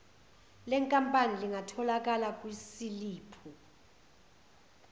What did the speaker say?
lenkampani lingatholakala kwisiliphu